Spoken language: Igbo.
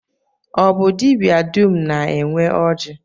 Ọ bụ dibịa dum na-enwe oji?